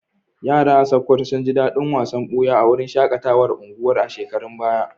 Yara a Sokoto sun ji dadin wasan buya a wurin shakatawar unguwar a shekarun baya.